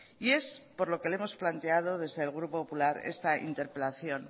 y es por lo que le hemos planteado desde el grupo popular esta interpelación